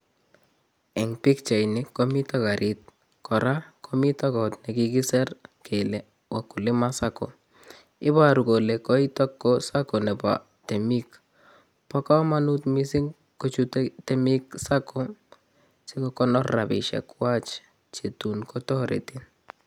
Eng pikchait nii komito karit nebo sacco kora komito kot nikikisir kele wakulima sacco ibaru kole koito ko sacco nebo temik bo komonut mising kochutei temik sacco sikokonor robisik kwach chetun kotoreti